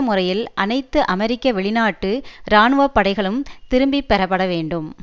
முறையில் அனைத்து அமெரிக்க வெளிநாட்டு இராணுவ படைகளும் திருப்பி பெறப்படவேண்டும்